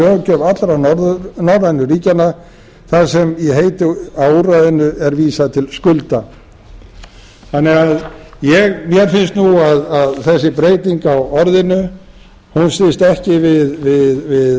löggjöf allra norrænu ríkjanna þar sem í heiti á úrræðinu er vísað til skulda þannig að mér finnst nú að þessi breyting á orðinu standist ekki við